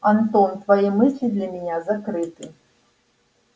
антон твои мысли для меня закрыты